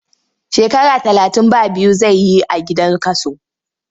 Shekara talatin ba biyu zai yi a gidan kaso.